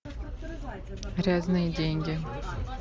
грязные деньги